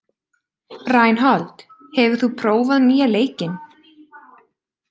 Reinhold, hefur þú prófað nýja leikinn?